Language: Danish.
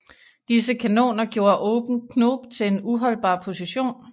Disse kanoner gjorde Open Knob til en uholdbar position